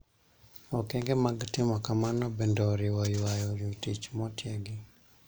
Okenge mag timo kamano bende oriwo ywayo jotich motiegi